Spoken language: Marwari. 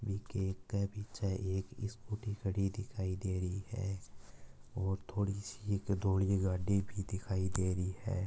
एक के पीछे एक स्कूटी खड़ी दिखाई दे रही है थोड़ी सी धोळी गाड़ी भी दिखाई दे रही है।